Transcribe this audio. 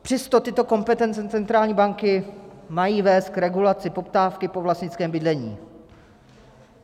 Přesto tyto kompetence centrální banky mají vést k regulaci poptávky po vlastnickém bydlení.